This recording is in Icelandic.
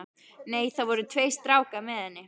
Nei, það voru tveir strákar með henni.